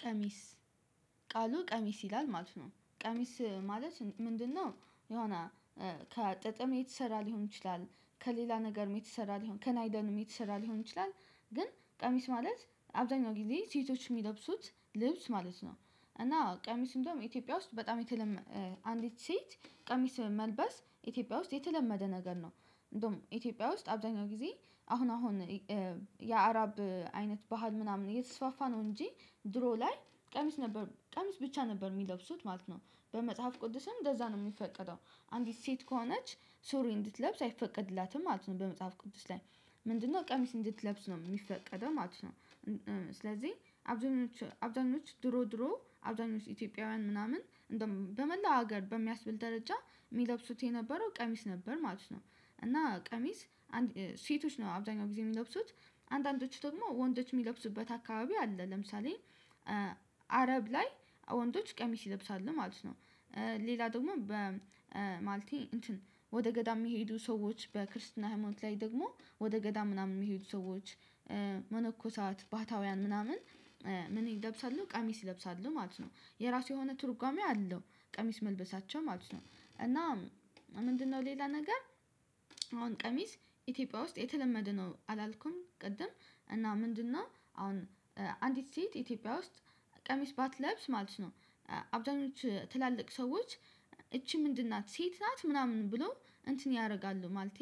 ቀሚስ ቃሉ ቀሚስ ይላል ማለት ነው ቀሚስ ማለት ምንድነው? የሆነ ከጥጥም የተሰራ ሊሆን ይችላል ከሌላ ነገርም የተሰራ ሊሆን ከናይለንም የተሰራ ሊሆን ይችላል። ግን ቀሚስ ማለት አብዛኛው ጊዜ ሴቶች የሚለብሱት ልብስ ማለት ነው። እና ቀሚስ እንደውም ኢትዮጵያ ውስጥ በጣም የተለመ አንዲት ሴት ቀሚስ መልበስ ኢትዮጵያ ውስጥ የተለመደ ነገር ነው። እንደውም ኢትዮጵያ ውስጥ አብዛኛው ጊዜ አሁን አሁን የአረብ አይነት ባህል ምናምን የተስፋፋ ነው። እንጂ ድሮ ላይ ቀሚስ ነበር ቀሚስ ብቻ ነበር የሚለብሱት ማለት ነው። በመጽሐፍ ቅዱስም እንደዛ ነው የሚፈቀደው። አንዲት ሴት ከሆነች ሱሪ እንድትለብስ አይፈቀድላትም ማለት ነው። በመጽሐፍ ቅዱስ ላይ ምንድነው ቀሚስ እንድትለብስ ነው የሚፈቀደው ማለት ነው። አብዛኞቹ አብዛኞቹ ድሮ ድሮ አብዛኞቹ ኢትዮጵያውያን ምናምን በመላው ሀገር በሚያስብል ደረጃ የሚለብሱት የነበረው ቀሚስ ነበር ማለት ነው። እና ቀሚስ ሴቶች ነው አብዛኛው ጊዜ የሚለብሱት አንዳንዶቹ ደግሞ ወንዶች የሚለብሱበት አካባቢ አለ። ለምሳሌ አረብ ላይ ወንዶች ቀሚስ ይለብሳሉ ማለት ነው። ሌላ ደግሞ በማለቴ እንትን ወደ ገዳም የሚሄዱ ሰዎች በክርስትና ሃይማኖት ላይ ደግሞ ወደ ገዳም ምናምን የሚሄዱ ሰዎች መነኮሳት ባህታውያን ምናምን። ምን ይለብሳሉ ቀሚስ ይለብሳሉ ማለት ነው የራሱ የሆነ ትርጓሜ አለው። ቀሚስ መልበሳቸው ማለት ነው እና ምንድነው ሌላ ነገር? አሁን ቀሚስ ኢትዮጵያ ውስጥ የተለመደ ነው አላልኩም ቅድም። እና ምንድነው አሁን አንዲት ሴት ኢትዮጵያ ውስጥ ቀሚስ ባትለብስ ማለት ነው። አብዛኞቹ ትላልቅ ሰዎች እቺ ምንድን ናት ሴት ናት ምናምን ብሎ እንትን ያደርጋሉ ማለቴ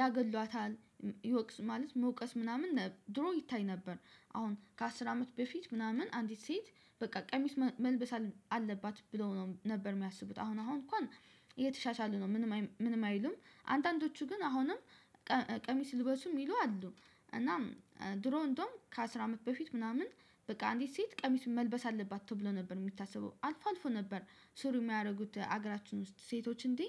ያገሏታል ይወቅስ ማለት መውቀስ ምናምን ድሮ ይታይ ነበር። አሁን ከአስር አመት በፊት ምናምን አንዲት ሴት በቃ ቀሚስ መልበስ አለባት ብለው ነው ነበር የሚያስቡት አሁን አሁን እንኳን። እየተሻሻሉ ነው ምንም ምንም አይሉም አንዳንዶቹ ግን አሁንም ቀሚስ ልበሱም የሚሉ አሉ። እናም ድሮን እንደውም ከአስር አመት በፊት ምናምን በቃ አንዲት ሴት ቀሚስ መልበስ አለባት ተብሎ ነበር የሚታሰበው አልፎ አልፎ ነበር። ሱሪ የሚያደርጉት ሀገራችን ውስጥ ሴቶች እንዴ?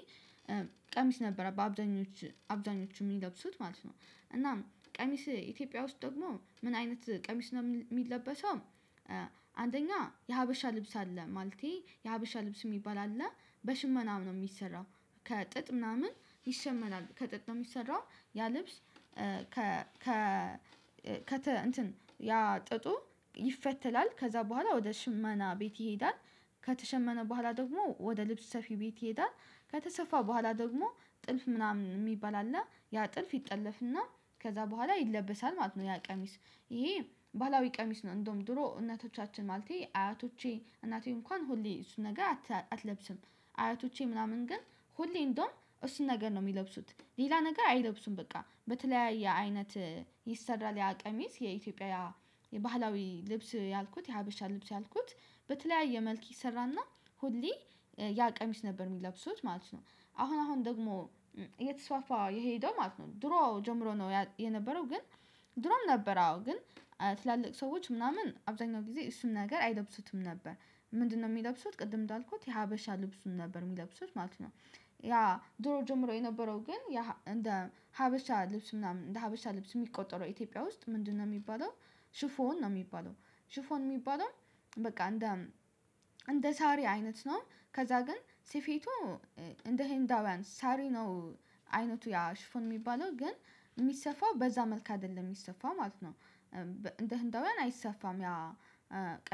ቀሚስ ነበረ በአብዛኞች አብዛኞቹ የሚለብሱት ማለት ነው። እናም ቀሚስ ኢትዮጵያ ውስጥ ደግሞ ምን አይነት ቀሚስ ነው የሚለበሰው? አንደኛ የሀበሻ ልብስ አለ ማለቴ የሀበሻ ልብስ የሚባል አለ። በሽመናም ነው የሚሰራው። ከጥጥ ምናምን ይሸመናል ከጥጥ ነው የሚሰራው። ያ ልብስ ከ ከ ከተ እንትን ያ ጥጡ ይፈተላል ከዛ በኋላ ወደ ሽማና ቤት ይሄዳል። ከተሸመነ በኋላ ደግሞ ወደ ልብስ ሰፊ ቤት ይሄዳል። ከተሰፋ በኋላ ደግሞ ጥልፍ ምናምን የሚባል አለ ያ ጥልፍ ይጠለፍና ከዛ በኋላ ይለበሳል ማለት ነው። ያ ቀሚስ ይሄ ባህላዊ ቀሚስ ነው እንደውም ድሮ እናቶቻችን ማለቴ አያቶቼ እናቴ እንኳን ሁሌ እሱን ነገር አትለብስም። አያቶቼ ምናምን ግን ሁሌ እንደውም እሱን ነገር ነው የሚለብሱት። ሌላ ነገር አይለብሱም በቃ በተለያየ አይነት ይሰራል ያ ቀሚስ የኢትዮጵያ የባህላዊ ልብስ ያልኩት የሀበሻ ልብስ ያልኩት። በተለያየ መልክ ይሰራና ሁሌ ያ ቀሚስ ነበር የሚለብሱት ማለት ነው። አሁን አሁን ደግሞ እየተስፋፈ የሄደው ማለት ነው ድሮ ጀምሮ ነው የነበረው ግን። ድሮም ነበር አዎ ግን ትላልቅ ሰዎች ምናምን አብዛኛው ጊዜ እሱን ነገር አይለብሱትም ነበር። ምንድነው የሚለብሱት ቅድም እንዳልኩት የሀበሻ ልብሱን ነበር የሚለብሱት ማለት ነው። ያ ድሮ ጀምሮ የነበረው ግን እንደ ሀበሻ ልብስ ምናምን እንደ ሀበሻ ልብስ የሚቆጠረው ኢትዮጵያ ውስጥ ምንድነው የሚባለው? ሽፎን ነው የሚባለው ሽፎን የሚባለው በቃ እንደ እንደ ሳሪ አይነት ነው። ከዛ ግን ስፌቱ እንደ ሄንዳውያን ሳሪ ነው። አይነቱ ያ ሽፎን የሚባለው ግን የሚሰፋው በዛ መልኩ አይደለም የሚሰፋው ማለት ነው። እንደ ህንዳውያን አይሰፋም ያ።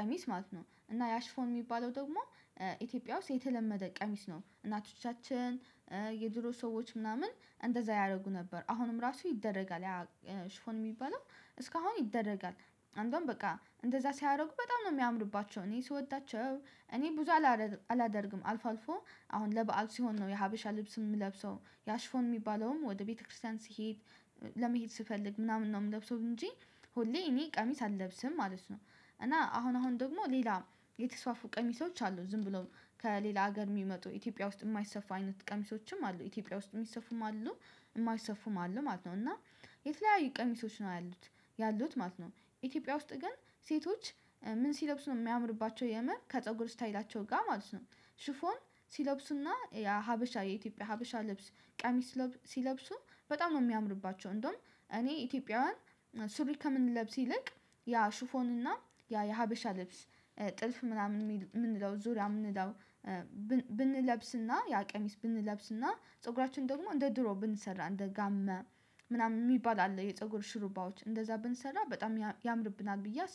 ቀሚስ ማለት ነው። እና ያሽፎን የሚባለው ደግሞ ኢትዮጵያ ውስጥ የተለመደ ቀሚስ ነው እናቶቻችን። የድሮ ሰዎች ምናምን እንደዛ ያደርጉ ነበር አሁንም ራሱ ይደረጋል ያ ሽፎን የሚበለው እስካሁን ይደረጋል። አንድ በቃ እንደዛ ሲያደርጉ በጣም ነው የሚያምሩባቸው እኔ ስወዳቸው እኔ ብዙ አላደርግም አልፎ አልፎ አሁን ለበአል ሲሆን ነው የሀበሻ ልብስ የምለብሰው ያሽፎን የሚባለውም ወደ ቤተክርስቲያን ስሄድ። ለመሄድ ስፈልግ ምናምን ነው የምለብሰው እንጂ ሁሌ እኔ ቀሚስ አልለብስም ማለት ነው። እና አሁን አሁን ደግሞ ሌላ የተስፋፉ ቀሚሶች አሉ ዝም ብለው ከሌላ ሀገር የሚመጡ ኢትዮጵያ ውስጥ የማይሰፋ አይነት ቀሚሶችም አሉ ኢትዮጵያ ውስጥ የሚሰፉም አሉ። የማይሰፉም አሉ ማለት ነው ማለት ነው እና የተለያዩ ቀሚሶች ነው ያሉት ያሉት ማለት ነው። ኢትዮጵያ ውስጥ ግን ሴቶች። ምን ሲለብሱ ነው የሚያምርባቸው የምር ከፀጉር ስታይላቸው ጋር ማለት ነው። ሽፎን ሲለብሱና የሀበሻ የኢትዮጵያ ሀበሻ ልብስ ቀሚስ ሲለብሱ በጣም ነው የሚያምርባቸው። እንደውም እኔ ኢትዮጵያውያን ሱሪ ከምንለብስ ይልቅ ያ ሹፎን እና ያ የሀበሻ ልብስ ጥልፍ ምናምን የምንለው ዙሪያ የምንለው። ብንለብስና ያ ቀሚስ ብንለብስና ፀጉራችን ደግሞ እንደ ድሮ ብንሰራ እንደ ጋማ ምናምን የሚባል አለ የፀጉር ሽሩባዎች እንደዛ ብንሰራ በጣም ያምርብናል ብዬ አስብ